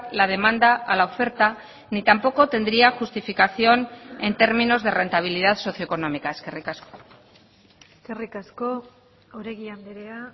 la demanda a la oferta ni tampoco tendría justificación en términos de rentabilidad socioeconómica eskerrik asko eskerrik asko oregi andrea